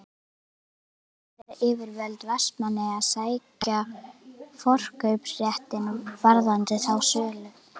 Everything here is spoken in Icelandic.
En munu bæjaryfirvöld Vestmannaeyja sækja forkaupsréttinn varðandi þá sölu?